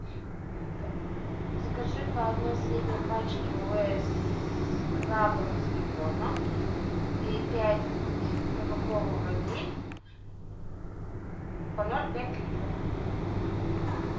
закажи по одной средней пачке лейс с крабами с беконом и пять кока кола ваниль по ноль пять литров